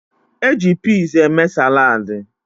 E ji piz eme saladị.